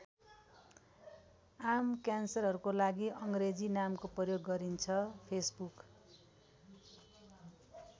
आम क्यान्सरहरूको लागि अङ्ग्रेजी नामको प्रयोग गरिन्छ। facebook